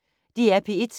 DR P1